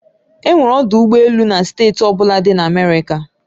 E nwere ọdụ ụgbọ elu na steeti ọ bụla dị na America